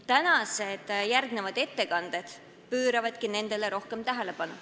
Järgmised tänased ettekanded pööravadki nendele rohkem tähelepanu.